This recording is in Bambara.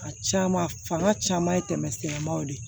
A caman fanga caman ye tɛmɛ sennamaw de